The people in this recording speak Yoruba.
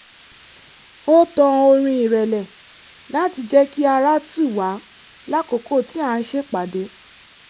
ó tan orin ìrẹ̀lẹ̀ láti jẹ́ kí ara tù wá lákòókò tí à ń ṣèpàdé